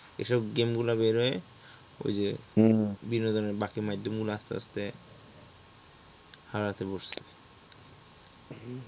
এই সব game গুলা বের হয়ে ওই যে বিনোদনের বাকি মাধ্যমগুলো আস্তে আস্তে হারাতে বসলো।